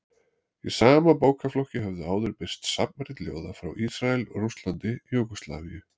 Í sama bókaflokki höfðu áður birst safnrit ljóða frá Ísrael, Rússlandi, Júgóslavíu